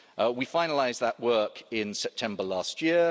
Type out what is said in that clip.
We finalised that work in September last year.